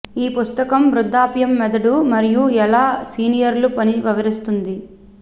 ఈ పుస్తకం వృద్ధాప్యం మెదడు మరియు ఎలా సీనియర్లు పని వివరిస్తుంది